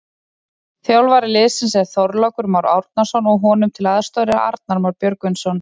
Þjálfari liðsins er Þorlákur Már Árnason og honum til aðstoðar er Arnar Már Björgvinsson.